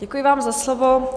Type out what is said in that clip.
Děkuji vám za slovo.